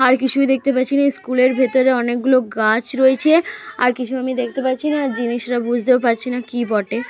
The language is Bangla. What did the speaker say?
আর কিছুই দেখতে পাচ্ছি না। স্কুলের ভেতরে অনেকগুলো গাছ রয়েছে। আর কিছু আমি দেখতে পাচ্ছি না জিনিসটা বুঝতে পারছি না কি বটে।